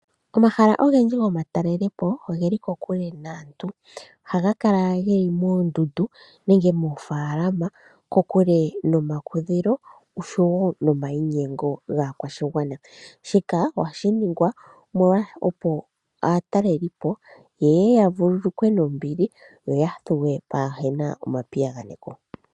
Omahala ogendji gomatalelopo ogeli kokule naantu, ohaga kala geli moondundu nenge moofaalama kokule nomakudhilo osho wo nomainyengo gaakwashigwana. Shika ohashi ningwa opo aatalelelipo ya vululukwe nombili yo ya thuwe pwaahena omapiyaganeko.